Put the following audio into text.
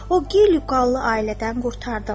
O gil yuqallı ailədən qurtardım.